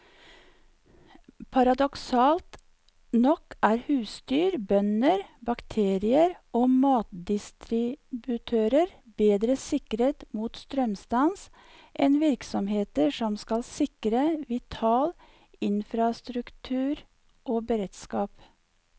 Paradoksalt nok er husdyr, bønder, bakerier og matdistributører bedre sikret mot strømstans enn virksomheter som skal sikre vital infrastruktur og beredskap.